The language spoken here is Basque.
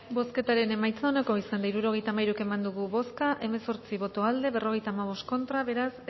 bozketaren emaitza onako izan da hirurogeita hamairu eman dugu bozka hemezortzi boto aldekoa cincuenta y cinco contra beraz